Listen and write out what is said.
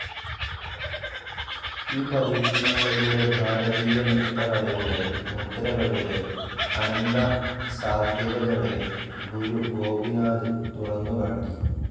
ഈ പരീക്ഷണങ്ങളിലൂടെ ഭാരതീയ നൃത്തകലയുടെ, മുദ്രകളുടെ അനന്തസാദ്ധ്യതകളെ ഗുരു ഗോപിനാഥ്‌ തുറന്നു കാട്ടി.